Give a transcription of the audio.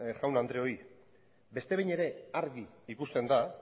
eajko jaun andreoi beste behin ere argi ikusten da